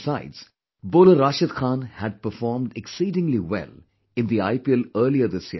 Besides, bowler Rashid Khan had performed exceedingly well in the IPL earlier this year